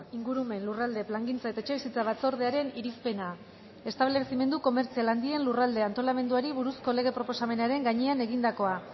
ingurumen lurralde plangintza eta etxebizitza batzordearen irizpena establezimendu komertzial handien lurralde antolamenduari buruzko lege proposamenaren gainean egindakoa